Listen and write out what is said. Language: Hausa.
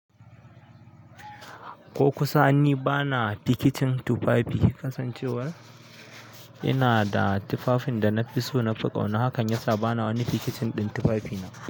Ko kusa ni bana pikicin tufafi kasancewar ina da tufafin da na fi so na fi ƙauna hakan yasa bana wani pikicin ɗin tufafina.